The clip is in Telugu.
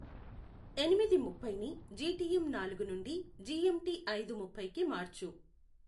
ఎనిమిది ముప్పైని జిటిఎం నాలుగు నుండి జిఎంటి ఐదు ముప్పైకి మార్చు